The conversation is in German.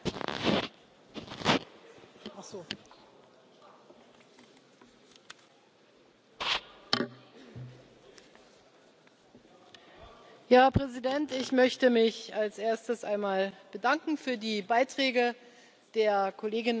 Herr Präsident! Ich möchte mich als Erstes einmal bedanken für die Beiträge der Kolleginnen und Kollegen hier zu meiner Rede und möchte mit Blick auf Jean Claude Juncker und Manfred Weber sagen, die noch einmal das Thema Großbritannien genannt haben, dass